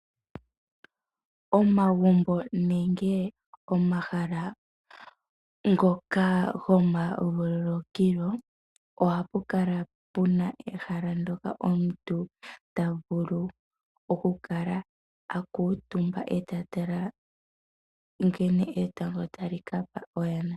Omagumbo nenge omahala ngoka gomavululukilo, ohapu kala pu na ehala ndyoka omuntu ta vulu okukala a kuutumba e ta tala nkene etango tali ka pa oyana.